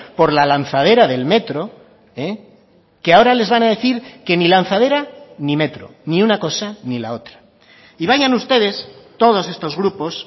por la lanzadera del metro que ahora les van a decir que ni lanzadera ni metro ni una cosa ni la otra y vayan ustedes todos estos grupos